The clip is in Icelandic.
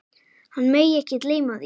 Hann megi ekki gleyma því.